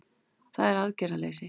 Það er aðgerðaleysið